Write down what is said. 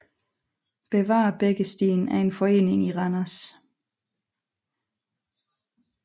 Bevar Bækkestien er en forening i Randers